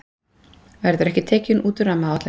Verður ekki tekin út úr rammaáætlun